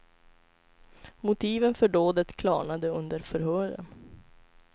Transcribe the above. Motiven för dådet klarnade under förhören.